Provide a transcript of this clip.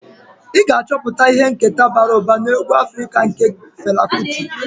Ị ga-achọpụta ihe nketa bara ụba na egwu Afrika nke Fela Kuti.